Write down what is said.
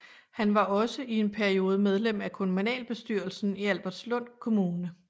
Han var også en periode medlem af kommunalbestyrelsen i Albertslund Kommune